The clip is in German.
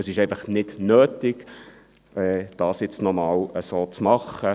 Es ist einfach nicht nötig, es nochmals zu machen.